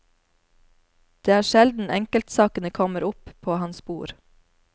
Det er sjelden enkeltsakene kommer opp på hans bord.